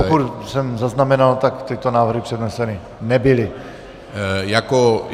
Pokud jsem zaznamenal, tak tyto návrhy předneseny nebyly.